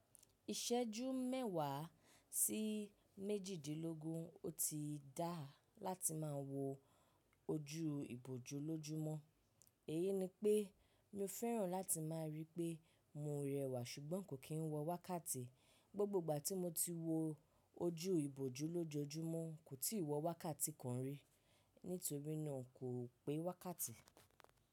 Iṣẹ́jú mẹ́wàá sí méjìdínlógún, ó ti dá láti má wọ ojú ìbòjú lójumo. Èyi ni pé, mi o fẹ́ràn láti má rí pé mo rẹwà sùgbọ́n kò kí n wọ wákàtí. Gbogbo ìgbà tí mo ti wo ojú ìbòjú lójojumo kò ti wọ wákàtí kan rí, nítorí náà kò pe wákàtí.